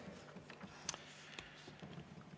Aitäh!